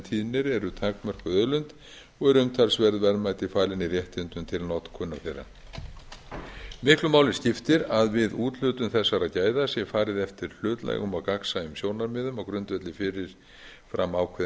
tíðnir eru takmörkuð auðlind og eru umtalsverð verðmæti falin í réttindum til notkunar þeirra miklu máli skiptir að við úthlutun þessara gæða sé farið eftir hlutlægum og gagnsæjum sjónarmiðum á grundvelli fyrirframákveðinna